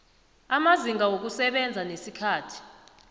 amazinga wokusebenza nesikhathi